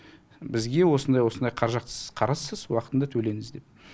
бізге осындай осындай қаражат сіз қарызсыз уақытында төлеңіз деп